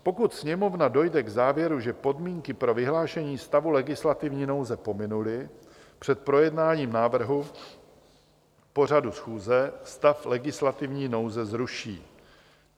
Pokud Sněmovna dojde k závěru, že podmínky pro vyhlášení stavu legislativní nouze pominuly před projednáním návrhu pořadu schůze, stav legislativní nouze zruší.